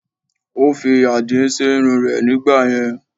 Ó fi àdí sí irun rẹ̀ nígbàyẹn